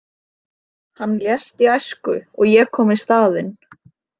Hann lést í æsku og ég kom í staðinn.